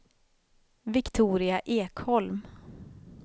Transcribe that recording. Viktoria Ekholm